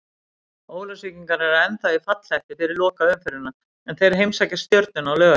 Ólafsvíkingar eru ennþá í fallhættu fyrir lokaumferðina en þeir heimsækja Stjörnuna á laugardag.